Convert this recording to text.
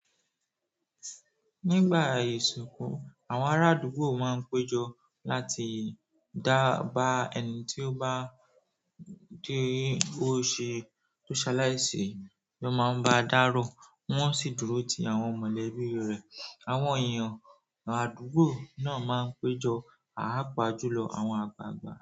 Nígbà ìsìnkú, àwọn ará àdúgbò ma n pejọ láti dába ẹni tí o bá saláise, wón ma n ba dáro, wón sì dúró ti àwọn mọ́lẹ̀bì rẹ. Àwọn èèyàn àdúgbò náà ma n pejọ, pàpa jùlọ àwọn àgbààgbà.